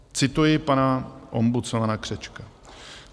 Cituji pana ombudsmana Křečka.